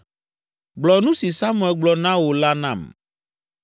Gblɔ nu si Samuel gblɔ na wò la nam.